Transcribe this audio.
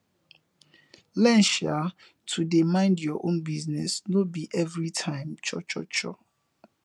learn um to dey mind yur own business no bi evri time cho cho cho